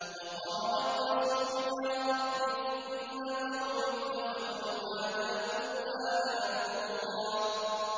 وَقَالَ الرَّسُولُ يَا رَبِّ إِنَّ قَوْمِي اتَّخَذُوا هَٰذَا الْقُرْآنَ مَهْجُورًا